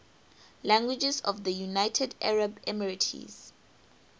languages of the united arab emirates